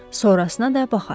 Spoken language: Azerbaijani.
Sonrasına da baxarıq.